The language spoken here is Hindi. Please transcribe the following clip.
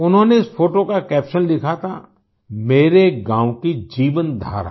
उन्होंने उस फोटो का कैप्शन लिखा था मेरे गाँव की जीवनधारा